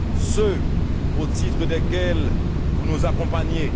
ceux au titre desquels vous nous accompagnez